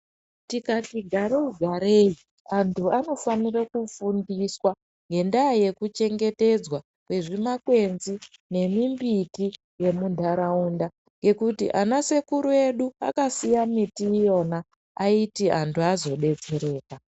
Tikati garei garei, antu anofanire kufundiswa ngendaa yekuchengetedzwa kwezvimakwenzi nemumbiti yemuntaraunda ngekuti ana sekuru edu akasiya miti iyona, aiti anhu azodetsereka.